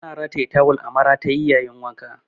Ana rataye tawul a maratayi yayin wanka.